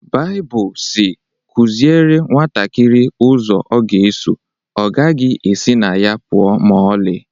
Baibụl si "Kụziere nwantakịrị ụzọ ọ ga-eso, ọ gaghị esi na ya pụọ ​​ma ọlị"